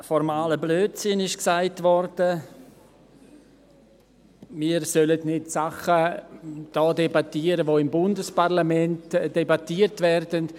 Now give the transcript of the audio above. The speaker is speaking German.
Formaler Blödsinn wurde gesagt, wir sollten nicht hier Dinge debattieren, die im Bundesparlament debattiert werden.